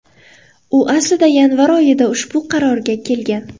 U aslida yanvar oyida ushbu qarorga kelgan.